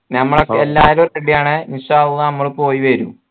ഞമ്മള് എല്ലാരും ready ആൺ നമ്മൾ പോയിവരുന്ന്